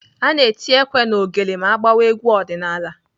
Ana eti ekwe na ogele ma agbawa egwu ọdịnaala.